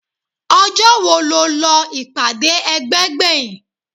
ọjọ́ wo lọ ìpàdé ẹgbẹ́ gbẹ̀yìn?